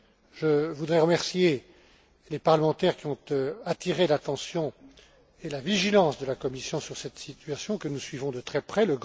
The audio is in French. Je voudrais remercier les parlementaires qui ont attiré l'attention et la vigilance de la Commission sur cette situation, que nous suivons de très près.